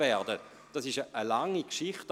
Dies ist eine lange Geschichte.